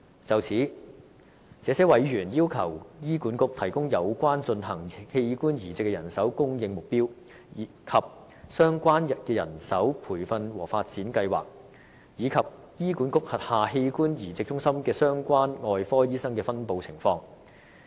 就此，這些委員要求醫管局提供有關進行器官移植手術的人手供應目標；相關的人手培訓和發展計劃；以及醫管局轄下器官移植中心的相關外科醫生的分布情況。